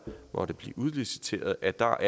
måtte blive udliciteret er der